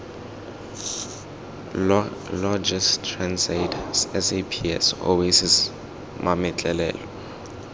logis transaid saps oasis mametlelelo